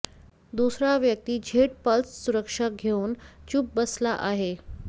दुसरा व्यक्ती Z plus सुरक्षा घेऊन चूप बसला आहे